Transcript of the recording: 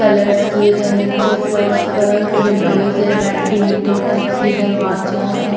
Colours किए गए नीचे फर्श पर विंडोज है वेंटीलेटर टाइप्स के दरवाजा है।